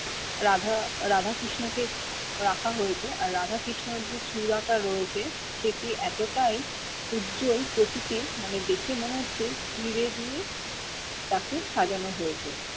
রাধ রাধা কৃষ্ণ কে রাখা হয়েছে আর রাধা কৃষ্ণর চুরা টা রয়েছে সেটি এতটাই উজ্জ্বল প্রকৃতি মানে দেখে মনে হচ্ছে হিরে দিয়ে তাকে সাজানো হয়েছে